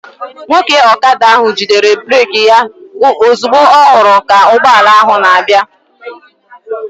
Nwoke ọkada ahụ jidere breeki ya ozugbo ọ hụrụ ka ụgbọala ahụ na-abịa